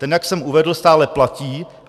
Ten, jak jsem uvedl, stále platí.